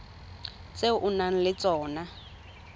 tse o nang le tsona